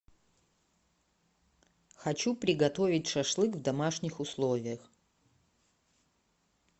хочу приготовить шашлык в домашних условиях